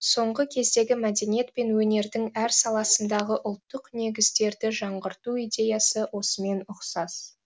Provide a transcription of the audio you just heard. соңғы кездегі мәдениет пен өнердің әр саласындағы ұлттық негіздерді жаңғырту идеясы осымен ұқсас